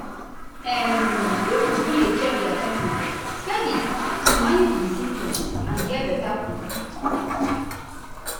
um pipo fit dey check their temperature steady to manage di symptoms and get beta quick